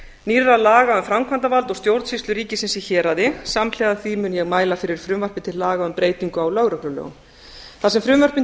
nýrra laga um framkvæmdarvald og stjórnsýslu ríkisins í héraði samhliða því mun ég mæla fyrir frumvarpi til laga um breytingu á lögreglulögum þar sem frumvörpin